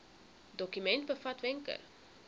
dokument bevat wenke